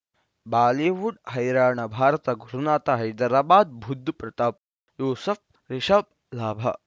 Bollywood ಹೈರಾಣ ಭಾರತ ಗುರುನಾಥ ಹೈದರಾಬಾದ್ ಬುಧ್ ಪ್ರತಾಪ್ ಯೂಸುಫ್ ರಿಷಬ್ ಲಾಭ